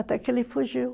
Até que ele fugiu.